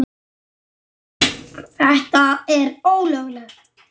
Góna á brjóst mín.